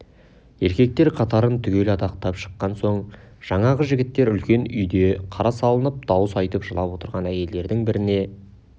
еркектер қатарын түгел адақтап шыққан соң жаңағы жігіттер үлкен үйде қара салынып дауыс айтып жылап отырған әйелдердің бәріне